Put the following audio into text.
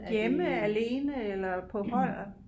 Hjemme alene eller på hold